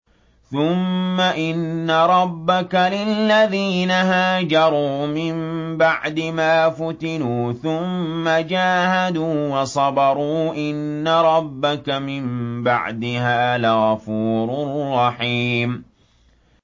ثُمَّ إِنَّ رَبَّكَ لِلَّذِينَ هَاجَرُوا مِن بَعْدِ مَا فُتِنُوا ثُمَّ جَاهَدُوا وَصَبَرُوا إِنَّ رَبَّكَ مِن بَعْدِهَا لَغَفُورٌ رَّحِيمٌ